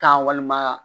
Taa walima